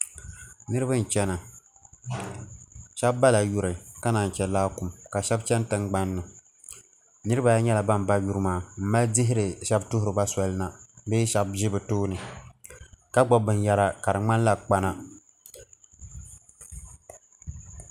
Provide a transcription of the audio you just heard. niriba n-chana shɛba bala yuri ka naai che laakum shɛba chani tiŋgbani ni niriba ayi nyɛla ban ba yuri maa m-mali dihiri shɛba tuhiri ba soli na bee shɛba ʒi bɛ tooni ka gbubi binyɛhiri ka di ŋmanila kpana.